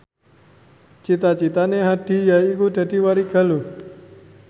cita citane Hadi yaiku dadi warigaluh